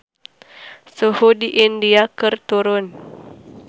Suhu di India keur turun